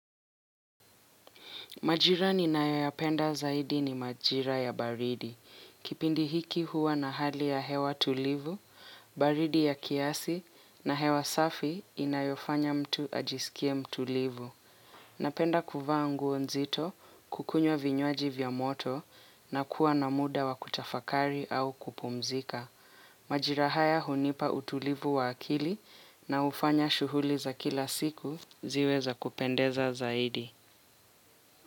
Majira ni nayoyapenda zaidi ni majira ya baridi. Kipindi hiki hua na hali ya hewa tulivu, baridi ya kiasi na hewa safi inayofanya mtu ajisikie mtulivu. Napenda kuvaa nguo nzito kukunywa vinywaji vya moto na kuwa na muda wa kutafakari au kupumzika. Majira haya hunipa utulivu wa akili na hufanya shughuli za kila siku ziwe za kupendeza zaidi.